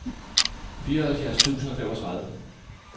fireoghalvfjerds tusind og femogtredive